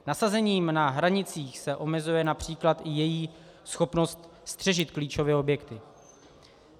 Nasazením na hranicích se omezuje například i její schopnost střežit klíčové objekty.